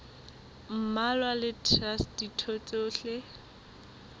mmalwa le traste ditho tsohle